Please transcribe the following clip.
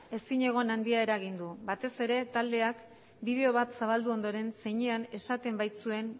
ezigon handia eragin du batez ere taldeak bideo bat zabaldu ondoren zeinean esaten baitzuen